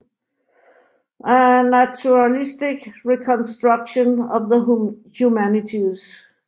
A naturalistic reconstruction of the humanities